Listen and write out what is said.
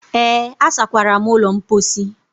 Ee, asakwara m ụlọ mposi.